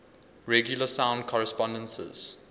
regular sound correspondences